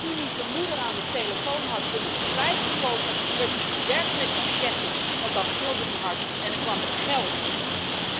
En toen hij zijn moeder aan de telefoon had om hem vrij te kopen, werd hij bewerkt met machetes want dan gilde hij hard en dan kwam het geld eerder.